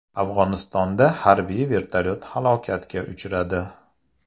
Afg‘onistonda harbiy vertolyot halokatga uchradi.